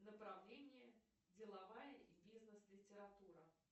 направление деловая и бизнес литература